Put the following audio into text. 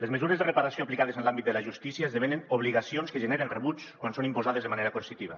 les mesures de reparació aplicades en l’àmbit de la justícia esdevenen obligacions que generen rebuig quan són imposades de manera coercitiva